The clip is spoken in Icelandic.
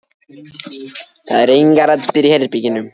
Það eru engar raddir í herberginu.